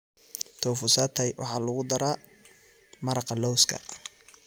Tofu satay waxaa lagu daraa maraqa lawska.